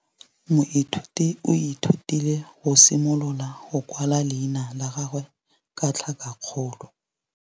Moithuti o ithutile go simolola go kwala leina la gagwe ka tlhakakgolo.